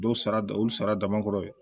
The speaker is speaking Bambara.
Dɔw sara da olu sara dama kɔrɔ